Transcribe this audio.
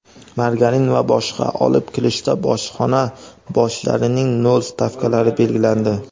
margarin va boshqa) olib kirishda bojxona bojlarining nol stavkalari belgilandi.